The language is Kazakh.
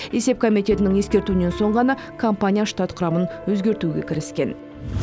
есеп комитетінің ескертуінен соң ғана компания штат құрамын өзгертуге кіріскен